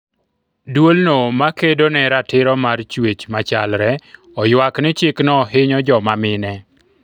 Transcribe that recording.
duolno ma kedo ne ratiro mar chwech machlare oywak ni chikno hinyo joma mine